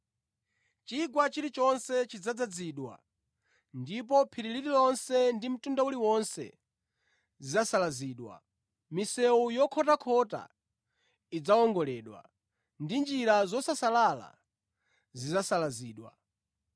Chigwa chilichonse chidzadzazidwa ndipo phiri lililonse ndi mtunda uliwonse zidzasalazidwa, misewu yokhotakhota idzawongoledwa, ndi njira zosasalala zidzasalazidwa.